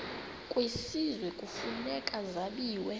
kwisizwe kufuneka zabiwe